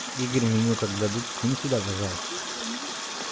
игорь меню как дадут скинь сюда пожалуйста